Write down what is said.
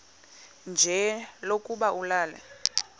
nje lokuba ulale